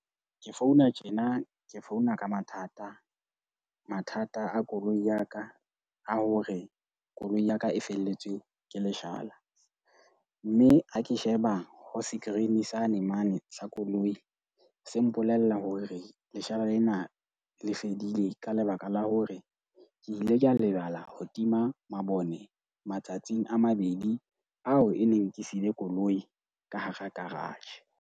Ke founa tjena ke founa ka mathata. Mathata a koloi ya ka a hore koloi ya ka e felletswe ke leshala. Mme ha ke sheba ho skrini sane mane sa koloi. Se mpolella hore leshala lena le fedile ka lebaka la hore ke ile ka lebala ho tima mabone matsatsing a mabedi ao e neng ke sile koloi ka hara garage.